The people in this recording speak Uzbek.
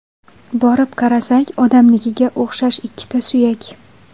Borib qarasak, odamnikiga o‘xshash ikkita suyak.